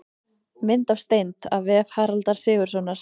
Mynd af steind: af vef Haraldar Sigurðssonar.